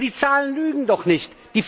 Aber die Zahlen lügen doch nicht!